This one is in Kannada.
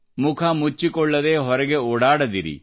ಮುಖಮುಚ್ಚಿಕೊಳ್ಳದೆ ಹೊರಗೆ ಓಡಾಡದಿರಿ